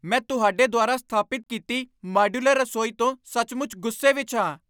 ਮੈਂ ਤੁਹਾਡੇ ਦੁਆਰਾ ਸਥਾਪਿਤ ਕੀਤੀ ਮਾਡਯੂਲਰ ਰਸੋਈ ਤੋਂ ਸੱਚਮੁੱਚ ਗੁੱਸੇ ਵਿੱਚ ਹਾਂ।